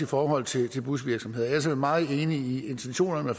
forhold til busvirksomheder ellers er vi meget enige i intentionerne